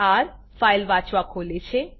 R - file વાંચવા ખોલે છે